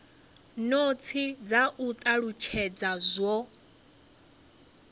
notsi dza u talutshedza zwo